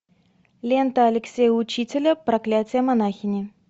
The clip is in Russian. лента алексея учителя проклятие монахини